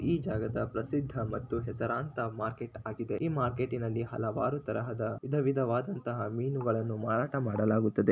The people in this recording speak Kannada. ಈ ಜಾಗದ ಪ್ರಸಿದ್ಧ ಮತ್ತು ಹೆಸರಾಂತ ಮಾರ್ಕೆಟ್ ಹಾಗಿದೆ ಈ ಮಾರ್ಕೆಟಿ ನಲ್ಲಿ ಹಲವಾರು ತರಹದ ವಿಧವಿಧವಾದಂತಹ ಮೀನುಗಳನ್ನು ಮಾರಾಟ ಮಾಡಲಾಗುತ್ತದೆ .